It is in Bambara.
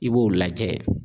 I b'o lajɛ.